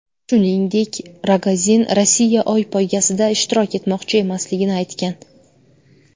Shuningdek, Rogozin Rossiya Oy poygasida ishtirok etmoqchi emasligini aytgan.